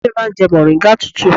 Ìyá mi máa ń jẹ mọ̀ríngà tútù.